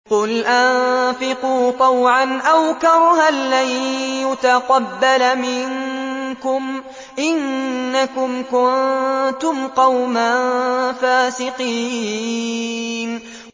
قُلْ أَنفِقُوا طَوْعًا أَوْ كَرْهًا لَّن يُتَقَبَّلَ مِنكُمْ ۖ إِنَّكُمْ كُنتُمْ قَوْمًا فَاسِقِينَ